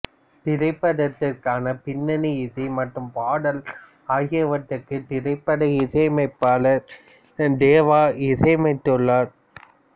திரைபடத்திற்கான பின்னணி இசை மற்றும் பாடல் ஆகியவற்றுக்கு திரைப்பட இசையமைப்பாளர் தேவா இசையமைத்துள்ளார்